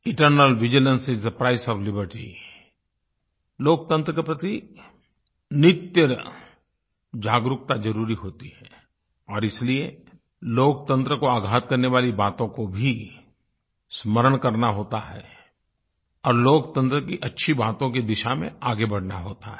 eternal vigilance is the price of liberty लोकतंत्र के प्रति नित्य जागरूकता ज़रूरी होती है और इसलिये लोकतंत्र को आघात करने वाली बातों को भी स्मरण करना होता है और लोकतंत्र की अच्छी बातों की दिशा में आगे बढ़ना होता है